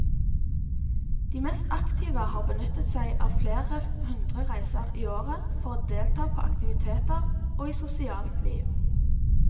De mest aktive har benyttet seg av flere hundre reiser i året for å delta på aktiviteter og i sosialt liv.